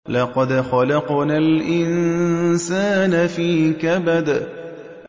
لَقَدْ خَلَقْنَا الْإِنسَانَ فِي كَبَدٍ